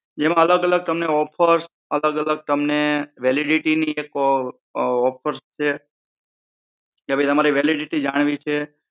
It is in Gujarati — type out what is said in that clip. સુવિધા જોઈએ છે જેમાં અલગ અલગ ઑફર્સ અલગ અલગ તમને વેલિડિટી ની એક ઑફર્સ છે કે ભઈ તમારી વેલિડિટી જાણવી છે